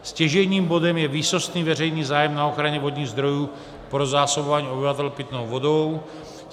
Stěžejním bodem je výsostný veřejný zájem na ochraně vodních zdrojů pro zásobování obyvatel pitnou vodou.